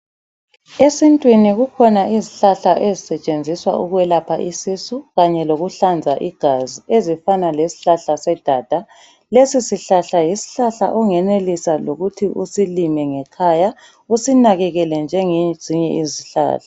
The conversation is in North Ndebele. Esitwini kukhona izhlahla ezisetshenziswa ukwelapha isisu kanye lokuhlanza igazi ezifana leshlahla sedada. Lesishlahla yishlahla ongenelisa lokuthi usilime ngekhaya usinakekele njengezinye izhlahla.